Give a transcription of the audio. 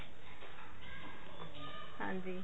ਹਾਂਜੀ